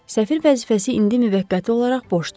Səfir vəzifəsi indi müvəqqəti olaraş boşdur.